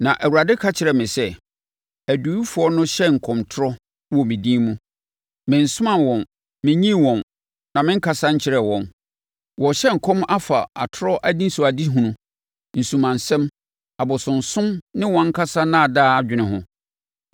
Na Awurade ka kyerɛɛ me sɛ, “Adiyifoɔ no hyɛ nkɔmtorɔ wɔ me din mu. Mensomaa wɔn mennyii wɔn, na menkasa nkyerɛɛ wɔn. Wɔrehyɛ nkɔm afa atorɔ anisoadehunu, nsumansɛm, abosonsom ne wɔn ankasa nnaadaa adwene ho.